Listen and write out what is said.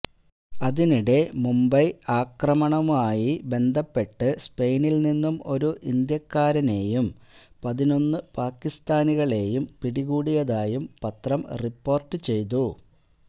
അതിനിടെ മുംബൈ ആക്രമണവുമായി ബന്ധപ്പെട്ട് സ്പെയിനില് നിന്നും ഒരു ഇന്ത്യാക്കാരനെയും പതിനൊന്ന് പാകിസ്ഥാനികളെയും പിടികൂടിയതായും പത്രം റിപ്പോര്ട്ട് ചെയ്തു